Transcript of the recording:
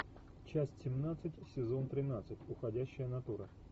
часть семнадцать сезон тринадцать уходящая натура